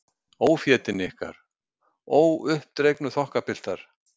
Ófétin ykkar, óuppdregnu þokkapiltar.